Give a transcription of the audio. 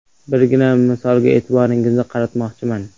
Birgina misolga e’tiboringizni qaratmoqchiman.